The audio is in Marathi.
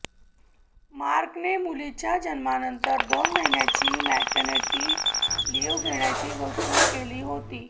मार्कने मुलीच्या जन्मानंतर दोन महिन्यांची पॅटर्निटी लीव्ह घेण्याची घोषणा केली होती